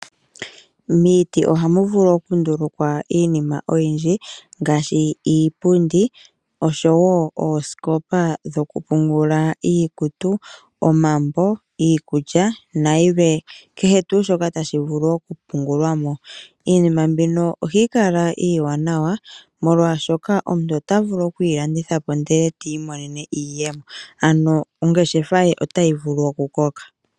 Miitu ohamu vulu okundulukwa iinima oyindji ngaashi iipundi osho woo osikopa dhoku pungula iikutu, iikulya niikwawo oyindji mboka tayi vulu okupungulwa mo. Iinima mboka ohayi kala iiwanawa molwashoka omuntu otavulu okuyi landithapo eti monene iiyemo nongeshefa ye otayi vulu oku koka.